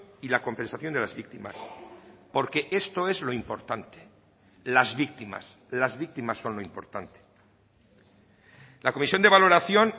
y la compensación de las víctimas porque esto es lo importante las víctimas las víctimas son lo importante la comisión de valoración